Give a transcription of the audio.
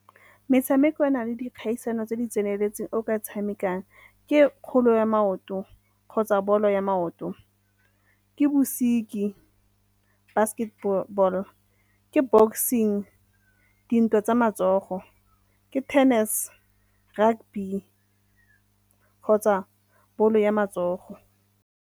Metshameko e na le dikgaisano tse di tseneletseng o ka tshamekang ke ya maoto kgotsa bolo ya maoto, ke bosiki basketball , ke boxing di ntwa tsa matsogo, ke tennis, rugby kgotsa ball-o ya matsogo.